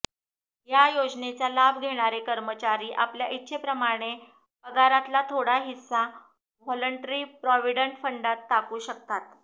या योजनेचा लाभ घेणारे कर्मचारी आपल्या इच्छेप्रमाणे पगारातला थोडा हिस्सा व्हाॅलंटरी प्राॅव्हिडंट फंडात टाकू शकतात